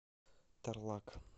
тарлак